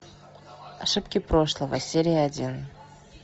ошибки прошлого серия один